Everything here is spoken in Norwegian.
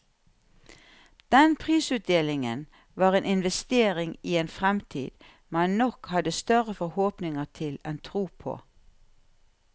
Den prisutdelingen var en investering i en fremtid man nok hadde større forhåpninger til enn tro på.